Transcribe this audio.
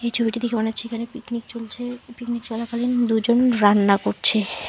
এই ছবিটি দেখে মনে হচ্ছে এখানে পিকনিক চলছে। পিকনিক চলাকালীন দুজন রান্না করছে।